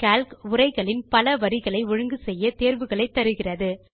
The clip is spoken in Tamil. கால்க் உரைகளின் பல வரிகளை ஒழுங்கு செய்ய தேர்வுகளை தருகிறது